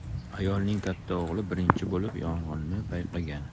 Ayolning katta o‘g‘li birinchi bo‘lib yong‘inni payqagan.